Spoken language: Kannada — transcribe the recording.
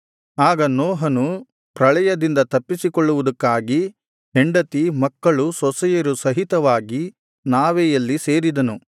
ಆಗ ನೋಹನು ಪ್ರಳಯದಿಂದ ತಪ್ಪಿಸಿಕೊಳ್ಳುವುದಕ್ಕಾಗಿ ಹೆಂಡತಿ ಮಕ್ಕಳು ಸೊಸೆಯರು ಸಹಿತವಾಗಿ ನಾವೆಯಲ್ಲಿ ಸೇರಿದನು